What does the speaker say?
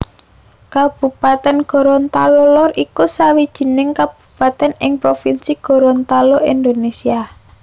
Kabupatèn Gorontalo Lor iku sawijining kabupatèn ing provinsi Gorontalo Indonésia